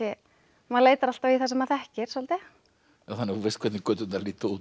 maður leitar alltaf í það sem maður þekkir svolítið þannig að þú veist hvernig göturnar líta út